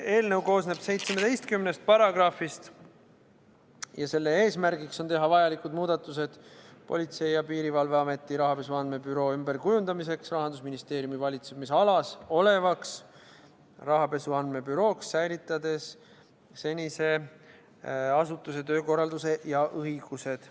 Eelnõu koosneb 17 paragrahvist ja selle eesmärk on teha vajalikud muudatused Politsei- ja Piirivalveameti rahapesu andmebüroo ümberkujundamiseks Rahandusministeeriumi valitsemisalas olevaks Rahapesu Andmebürooks, säilitades senise asutuse töökorralduse ja õigused.